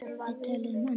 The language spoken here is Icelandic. Við töluðum ensku.